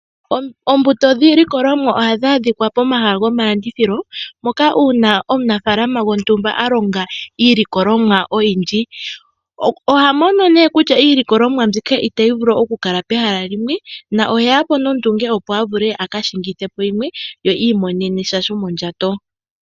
Oombuto dhiilikolomwa ohadhi adhika pomahala gomalandithilo mpoka uuna omunafaalama gontumba a longa iilikolomwa oyindji. Oha mono nduno kutya iilikolomwa mbyoka itayi vulu okukala pehala limwe nohe ya po nduno nondunge, opo a ka shingithe po yimwe ye i imonene sha shomondjato.